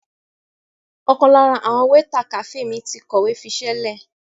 Ọ̀kan lára àwọn wéétà kàféè mi ti kọ̀wé fiṣẹ́lẹ̀.